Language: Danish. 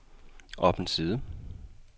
op en side